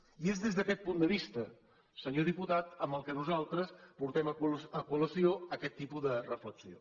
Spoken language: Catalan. i és des d’aquest punt de vista senyor diputat que nosaltres portem a col·lació aquest tipus de reflexió